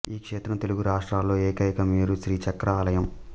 ఈ క్షేత్రం తెలుగు రాష్ట్రాలలో ఏకైక మేరు శ్రీ చక్ర ఆలయం